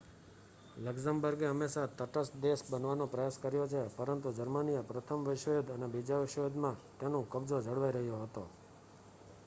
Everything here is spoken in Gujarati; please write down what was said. લક્ઝમબર્ગ ે હંમેશા તટસ્થ દેશ બનવાનો પ્રયાસ કર્યો છે પરંતુ જર્મનીએ પ્રથમ વિશ્વયુદ્ધ અને બીજા વિશ્વયુદ્ધ માં તેનું કબજો જળવાઈ રહ્યો હતો